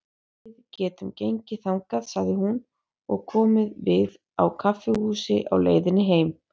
Við gætum gengið þangað, sagði hún, og komið við á kaffihúsi á leiðinni heim.